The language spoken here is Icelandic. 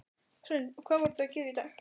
Hrund: Og hvað voruð þið að gera í dag?